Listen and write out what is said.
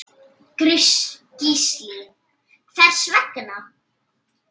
Gísli: Hvers vegna?